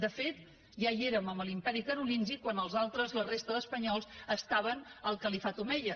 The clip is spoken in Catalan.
de fet ja hi érem amb l’imperi carolingi quan els altres la resta d’espanyols estaven al califat omeia